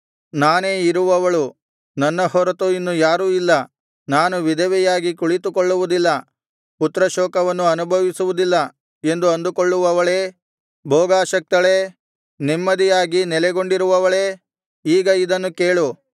ನಾನೇ ಇರುವವಳು ನನ್ನ ಹೊರತು ಇನ್ನು ಯಾರೂ ಇಲ್ಲ ನಾನು ವಿಧವೆಯಾಗಿ ಕುಳಿತುಕೊಳ್ಳುವುದಿಲ್ಲ ಪುತ್ರಶೋಕವನ್ನು ಅನುಭವಿಸುವುದಿಲ್ಲ ಎಂದು ಅಂದುಕೊಳ್ಳುವವಳೇ ಭೋಗಾಸಕ್ತಳೇ ನೆಮ್ಮದಿಯಾಗಿ ನೆಲೆಗೊಂಡಿರುವವಳೇ ಈಗ ಇದನ್ನು ಕೇಳು